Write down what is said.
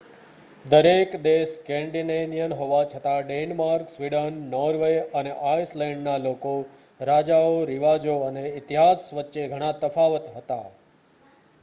દરેક દેશ સ્કેન્ડિનેવિયન' હોવા છતાં ડેનમાર્ક સ્વીડન નોર્વે અને આઇસલેન્ડના લોકો રાજાઓ રિવાજો અને ઇતિહાસ વચ્ચે ઘણા તફાવત હતા